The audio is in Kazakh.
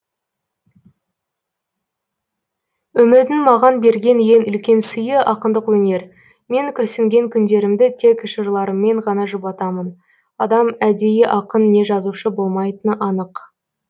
өмірдің маған берген ең үлкен сыйы ақындық өнер мен күрсінген күндерімді тек жырларыммен ғана жұбатамын адам әдейі ақын не жазушы болмайтыны анық